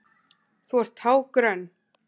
Þú ert tággrönn!